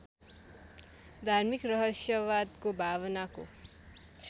धार्मिक रहस्यवादको भावनाको